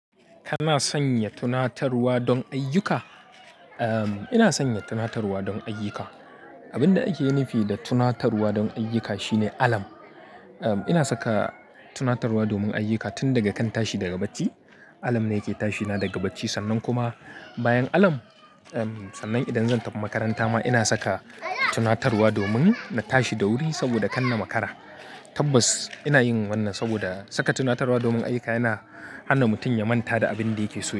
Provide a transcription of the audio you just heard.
Kana sanya tunatarwa don ayyuka? Ina sanya tunatarwa don ayyuka. Abin da ake nufi da tunatarwa don ayyuka shine alam. Ina saka tunatarwa domin ayyuka tun daga kan tashi daga bacci. Alam ne yake tashina daga bacci. Sannan kuma bayan alam, sannan idan zan tafi makaranta ma ina saka tunatarwa domin na tashi da wuri saboda kanna makara. Tabbas ina yin wannan saboda saka tunatarwa domin ayyuka yana hana mutum ya manta da abin da yake so.